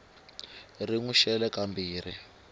ri n wi xele kambirhi